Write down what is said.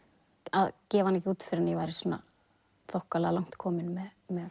að gefa hana ekki út fyrr en ég væri þokkalega langt komin með